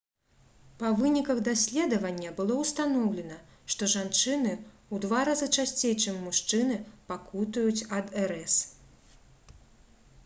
па выніках даследавання было ўстаноўлена што жанчыны ў два разы часцей чым мужчыны пакутуюць ад рс